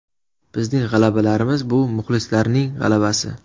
Bizning g‘alabalarimiz – bu muxlislarning g‘alabasi.